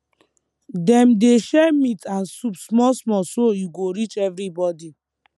dem dey share meat and soup small small so e go reach everybody